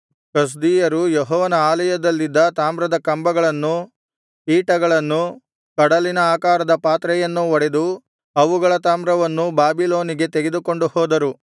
ಕಸ್ದೀಯರು ಯೆಹೋವನ ಆಲಯದಲ್ಲಿದ್ದ ತಾಮ್ರದ ಕಂಬಗಳನ್ನು ಪೀಠಗಳನ್ನೂ ಕಡಲಿನ ಆಕಾರದ ಪಾತ್ರೆಯನ್ನೂ ಒಡೆದು ಅವುಗಳ ತಾಮ್ರವನ್ನೂ ಬಾಬಿಲೋನಿಗೆ ತೆಗೆದುಕೊಂಡು ಹೋದರು